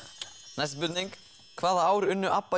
næsta spurning hvaða ár unnu